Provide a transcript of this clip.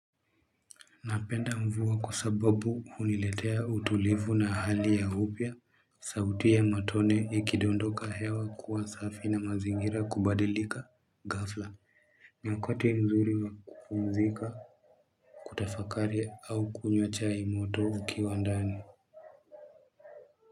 Napenda mvua kwa sababu huniletea utulivu na hali ya upya. Sauti ya matone ikidondoka hewa kuwa safi na mazingira kubadilika ghafla. Ni wakati mzuri wa kupumzika kutafakari au kunywa chai moto ukiwa ndani.